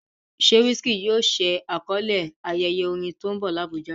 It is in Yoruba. Ṣé Wizkid yóò ṣe àkọlé ayẹyẹ orin tó ń bọ̀ ní Abuja?